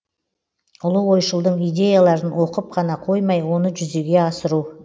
ұлы ойшылдың идеяларын оқып қана қоймай оны жүзеге асыру